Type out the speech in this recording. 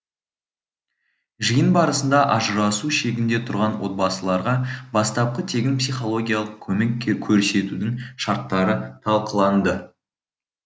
жиын барысында ажырасу шегінде тұрған отбасыларға бастапқы тегін психологиялық көмек көрсетудің шарттары талқыланды